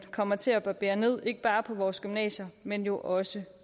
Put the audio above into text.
kommer til at barbere ned ikke bare på vores gymnasier men jo også